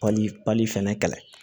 Pali pali fɛnɛ kɛlɛ